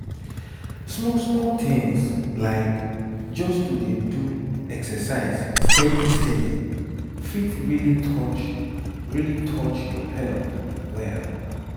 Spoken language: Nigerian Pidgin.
small small things like just to dey do exercise steady steady fit really touch really touch your health well.